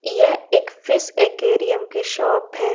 यह एक fish aquarium की शॉप हैं।